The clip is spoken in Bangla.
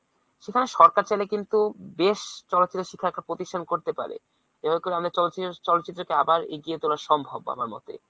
সেখানে সরকার চাইলে কিন্তু বেশ চলচিত্র শিক্ষাকে প্রতিষ্ঠান করতে পারে। এভাবে করলে আমাদের চল~ চলচিত্রকে আবার এগিয়ে তোলা সম্ভব আমার মতে।